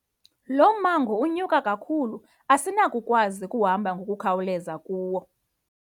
Lo mmango unyuka kakhulu asinakukwazi ukuhamba ngokukhawuleza kuwo.